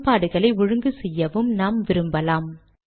சமன்பாடுகளை ஒழுங்கு செய்யவும் நாம் விரும்பலாம்